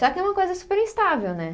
Só que é uma coisa super instável, né?